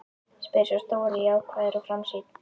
spyr sá stóri jákvæður og framsýnn.